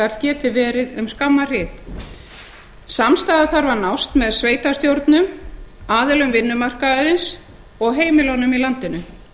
geti verið um skamma hríð samstaða þarf að nást með sveitarstjórnum aðilum vinnumarkaðarins og heimilunum í landinu